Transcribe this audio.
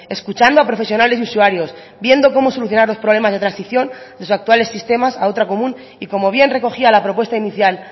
escuchando a profesionales y usuarios viendo cómo solucionar los problemas de transición de los actuales sistemas a otra común y como bien recogía la propuesta inicial